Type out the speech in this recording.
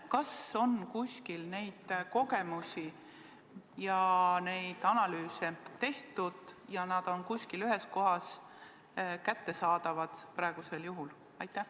Kas on kuskil neid kogemusi ja neid analüüse tehtud ning kas nad on praegu kuskil ühes kohas kättesaadavad?